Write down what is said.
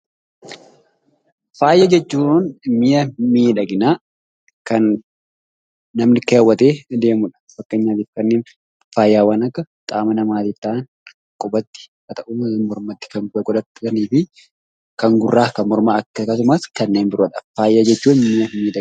Faaya jechuun mi'a miidhaginaa kan namni keewwatee deemudha. Fakkeenyaaf kanneen faayawwan akka qaama namaatti ta'an, qubatti waan ta'u yookaan mormatti kan godhatanii fi kan gurraa, kan mormaa akkasumas kanneen biroodha. Faaya jechuun mi'a miidhaginaati.